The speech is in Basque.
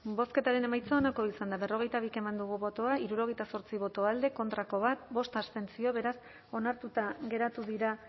bozketaren emaitza onako izan da hirurogeita hamalau eman dugu bozka hirurogeita zortzi boto alde bat contra bost abstentzio beraz onartuta geratu dira